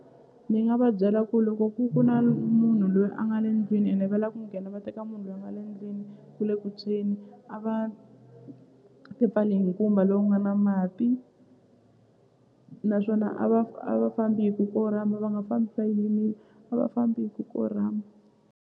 Ni nga va byela ku loko ku ku na munhu loyi a nga le ndlwini ene va la ku nghena va teka munhu lwa nga le ndlwini ku le ku tshweni a va tipfali hi nkumba lowu nga na mati naswona a va a va fambi hi ku korhama va nga fambi yimile a va fambi hi ku korhama.